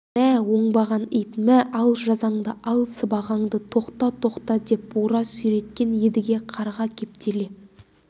мә оңбаған ит мә ал жазаңды ал сыбағаңды тоқта тоқта деп бура сүйреткен едіге қарға кептеле